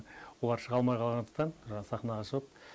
олар шыға алмай қалғандықтан жаңағы сахнаға шығып